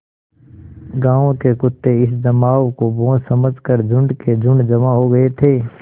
गाँव के कुत्ते इस जमाव को भोज समझ कर झुंड के झुंड जमा हो गये थे